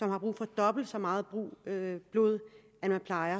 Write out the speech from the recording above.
har brug for dobbelt så meget blod